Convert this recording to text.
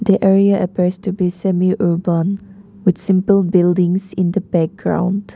the area appears to be semi urban with simple buildings in the background.